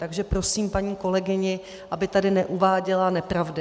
Takže prosím paní kolegyni, aby tady neuváděla nepravdy.